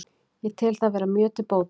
Ég tel það vera mjög til bóta